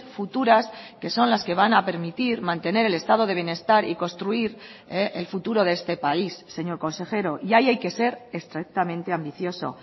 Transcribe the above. futuras que son las que van a permitir mantener el estado de bienestar y construir el futuro de este país señor consejero y ahí hay que ser estrictamente ambicioso